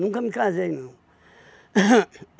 Nunca me casei, não. Hum